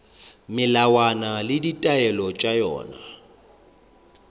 melawana le ditaelo tša yona